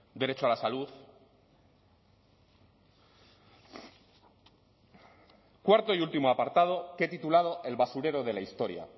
derecho a la salud cuarto y último apartado que he titulado el basurero de la historia